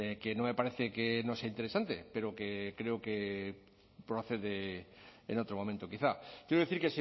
que no me parece que no sea interesante pero que creo que procede en otro momento quizá quiero decir